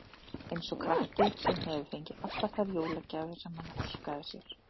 Eins og krakki, sem hefur fengið allar þær jólagjafir sem hann óskaði sér.